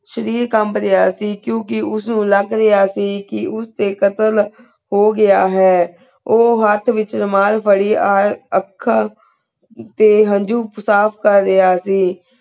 ਸ਼ਰੀਰ ਕਮਬ ਰਾਯ੍ਹਾ ਸੇ ਕ੍ਯੂਂ ਕੇ ਉਸ ਨੂ ਲਾਗ ਰਾਯ੍ਹਾ ਸੇ ਕੇ ਉਸ ਦੇ ਕਤਲ ਹੋ ਗਯਾ ਹੈ ਊ ਹੇਠ ਵਿਚ ਰੁਮਾਲ ਪਾਰੀ ਆ ਆਕਾ ਤੇ ਹੰਜੂ ਸਾਫ਼ ਕਰ ਰਾਯ੍ਹਾ ਸੇ